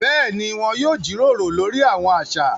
Béèni, wọn yóò jíròrò lori awọn aṣa